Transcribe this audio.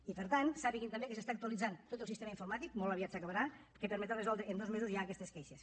i per tant sàpiguen també que s’està actualitzant tot el sistema informàtic molt aviat s’acabarà que permetrà resoldre en dos mesos ja aquestes queixes